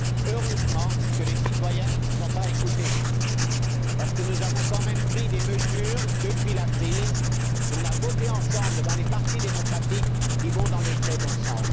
Heureusement que les citoyens ne nous ont pas écoutés parce que nous avons quand même pris des mesures depuis la crise, que nous avons votées ensemble dans les partis démocratiques et qui vont dans le bon sens.